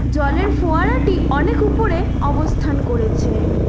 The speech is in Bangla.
জলের ফোয়ারাটি অনেক উপরে অবস্থান করেছে।